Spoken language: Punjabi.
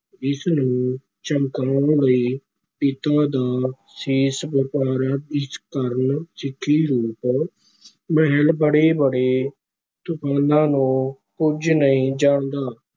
ਇਸ ਨੂੰ ਚਮਕਾਉਣ ਲਈ ਪਿਤਾ ਦਾ ਸੀਸ ਵਾਰਿਆ, ਇਸ ਕਾਰਨ ਸਿੱਖੀ ਰੂਪ ਮਹਿਲ ਬੜੇ-ਬੜੇ ਤੂਫਾਨਾਂ ਨੂੰ ਕੁਝ ਨਹੀਂ ਜਾਣਦਾ।